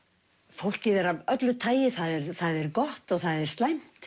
fólkið er af öllu tagi það er gott og það er slæmt